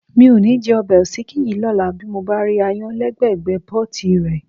Mi ò ní jẹ ọbẹ̀ òsíkí yìí lọ́la bí mo bá rí aáyán lẹ́gbẹ́ẹ̀gbẹ́ pọ́ọ̀tì rẹ̀.